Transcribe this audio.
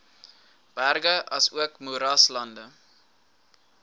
berge asook moeraslande